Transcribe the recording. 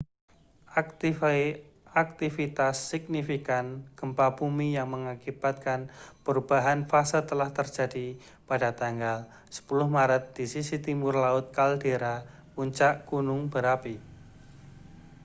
aktivitas signifikan gempa bumi yang mengakibatkan perubahan fase telah terjadi pada tanggal 10 maret di sisi timur laut kaldera puncak gunung berapi